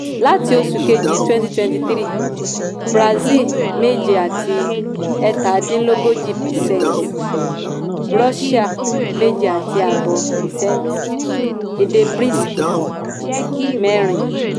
láti oṣù keji twenty twenty three brazil méje àti ẹ́tadínlógójì percent russia méje àti ààbọ̀ percent èdè briskì mẹ́rin.